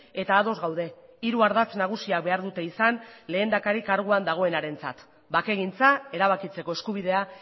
eta ados gaude hiru ardatz nagusiak behar dute izan lehendakari karguan dagoenarentzat bakegintza erabakitzeko eskubidea